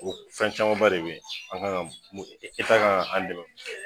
O fɛn caman ba de bɛ yen an ka kan mun kan ka an dɛmɛ